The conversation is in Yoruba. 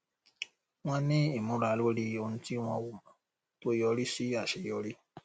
wọn ní ìmúra lórí ohun tí wọn ò mọ tó yọrí sí aṣeyọrí